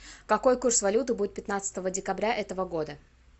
какой курс валюты будет пятнадцатого декабря этого года